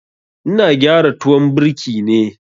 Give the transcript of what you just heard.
Ina gyara tuwon birki ne.